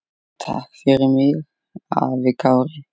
Takk fyrir mig, afi Kári.